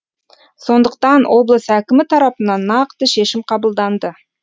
сондықтан облыс әкімі тарапынан нақты шешім қабылданды